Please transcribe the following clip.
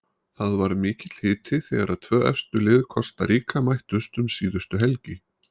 Það var mikill hiti þegar tvö efstu lið Kosta Ríka mættust um síðustu helgi.